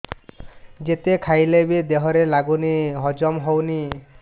ଯେତେ ଖାଇଲେ ବି ଦେହରେ ଲାଗୁନି ହଜମ ହଉନି